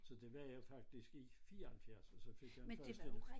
Så det var jeg faktisk i 74 og så fik jeg den første